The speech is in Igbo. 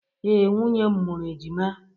Ee, nwunye m mụrụ ejima.